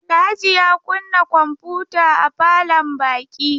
Alhaji ya kunna kwamfuta a falon baƙi.